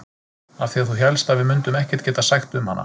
Af því að þú hélst að við mundum ekkert geta sagt um hana.